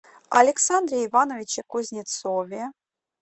александре ивановиче кузнецове